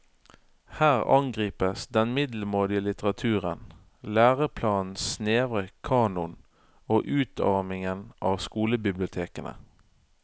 Her angripes den middelmådige litteraturen, læreplanens snevre kanon og utarmingen av skolebibliotekene.